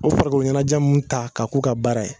O farikoloɲɛnɛjɛ min ta k'a k'u ka baara ye